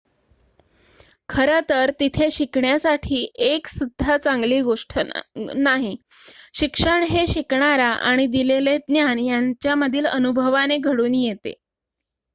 खरं तर तिथे शिकण्यासाठी एक सुद्धा चांगली गोष्ट नाही शिक्षण हे शिकणारा आणि दिलेले ज्ञान यांच्यामधील अनुभवाने घडून येते